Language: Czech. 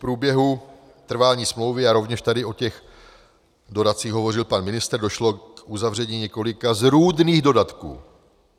V průběhu trvání smlouvy - a rovněž tady o těch dodatcích hovořil pan ministr - došlo k uzavření několika zrůdných dodatků.